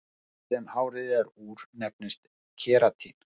efnið sem hárið er úr nefnist keratín